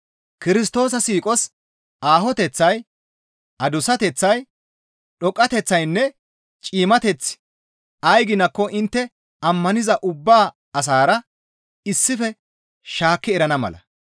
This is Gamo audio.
Kirstoosa siiqos aahoteththay, adussateththay, dhoqqateththaynne ciimmateththi ay ginakko intte ammaniza ubba asaara issife shaakki erana mala.